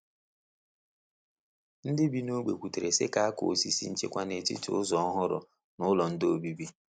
Ndị bi n’ógbè kwutere si ka a kuọ osisi nchekwa n’etiti ụzọ ọhụrụ na ụlọ nde obibi.